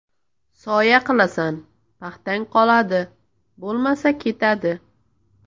Soya qilasan, paxtang qoladi, bo‘lmasa ketadi.